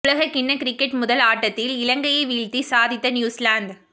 உலகக் கிண்ணக் கிரிக்கெட் முதல் ஆட்டத்தில் இலங்கையை வீழ்த்தி சாதித்த நியூசிலாந்து